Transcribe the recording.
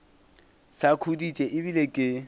sa khuditše e bile ke